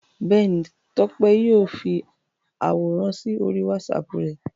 Bẹ́ẹ̀ni, Tọ́pẹ́ yóò fi àwòrán sí orí WhatsApp rẹ̀.